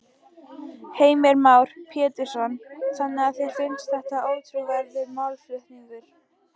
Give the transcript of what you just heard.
Heimir Már Pétursson: Þannig að þér finnst þetta ótrúverðugur málflutningur?